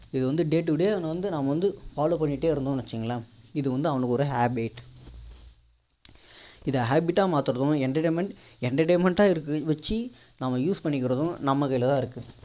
இது வந்து day today வந்து நம்ம வந்து follow பண்ணிட்டே இருந்தோம்னு வச்சிகோங்களேன் இது வந்து அவனுக்கு ஒரு habit இதை habit டா மாத்துறதும் entertainment entertainment டா வச்சி அவன் use பண்ணிக்கிறதும் நம்ம கையில தான் இருக்கு